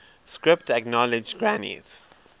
script acknowledged granny's